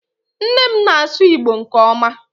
nne m na-asu igbo nke oma